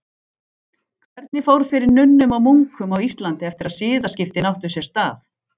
Hvernig fór fyrir nunnum og munkum á Íslandi eftir að siðaskiptin áttu sér stað?